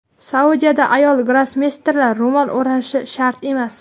Saudiyada ayol grossmeysterlar ro‘mol o‘rashi shart emas.